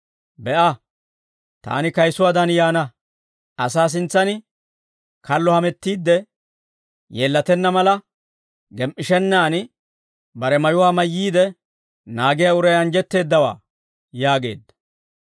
«Be'a, taani kayisuwaadan yaana. Asaa sintsan kallo hamettiidde yeellatenna mala, gem"ishennaan bare mayuwaa mayyiide naagiyaa uray anjjetteeddawaa!» yaageedda.